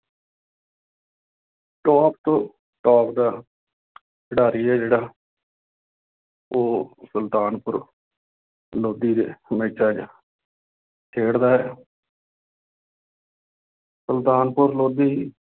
Top top ਦਾ ਖਿਡਾਰੀ ਹੈ ਜਿਹੜਾ ਉਹ ਸੁਲਤਾਨਪੁਰ ਲੋਧੀ ਦੇ ਮੈਚਾਂ ਚ ਖੇਡਦਾ ਹੈ ਸੁਲਤਾਨਪੁਰ ਲੋਧੀ